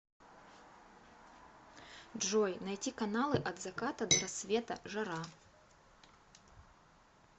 джой найти каналы от заката до рассвета жара